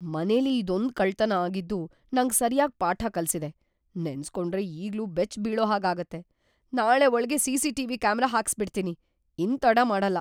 ಮನೆಲಿ ಇದೊಂದ್‌ ಕಳ್ತನ ಆಗಿದ್ದು ನಂಗ್‌ ಸರ್ಯಾಗ್‌ ಪಾಠ ಕಲ್ಸಿದೆ, ನೆನ್ಸ್‌ಕೊಂಡ್ರೆ ಈಗ್ಲೂ ಬೆಚ್ಚ್‌ಬೀಳೋಹಾಗಾಗತ್ತೆ, ನಾಳೆ ಒಳ್ಗೇ ಸಿ.ಸಿ.ಟಿ.ವಿ. ಕ್ಯಾಮರಾ ಹಾಕಿಸ್ಬಿಡ್ತೀನಿ, ಇನ್ನ್‌ ತಡ ಮಾಡಲ್ಲ.